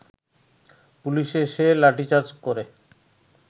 police এসে লাঠিচার্জ করে